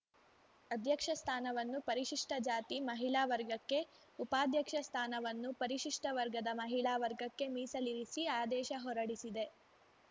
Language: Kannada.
ಅಧ್ಯಕ್ಷ ಸ್ಥಾನವನ್ನು ಪರಿಶಿಷ್ಟಜಾತಿ ಮಹಿಳಾ ವರ್ಗಕ್ಕೆ ಉಪಾಧ್ಯಕ್ಷ ಸ್ಥಾನವನ್ನು ಪರಿಶಿಷ್ಟವರ್ಗದ ಮಹಿಳಾ ವರ್ಗಕ್ಕೆ ಮೀಸಲಿರಿಸಿ ಆದೇಶ ಹೊರಡಿಸಿದೆ